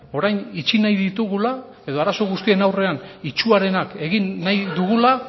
orain itxi nahi ditugula edo arazo guztien aurrean itsuarenak egin nahi dugula